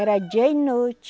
Era dia e noite.